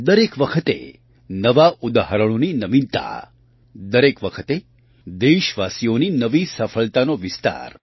દરેક વખતે નવાં ઉદાહરણોની નવીનતા દરેક વખતે દેશવાસીઓની નવી સફળતાનો વિસ્તાર